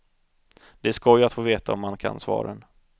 Det är skoj att få veta om man kan svaren.